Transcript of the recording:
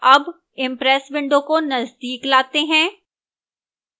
अब impress window को नजदीक लाते हैं